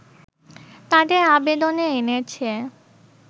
তাদের আবেদনে এনেছে